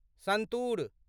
santoor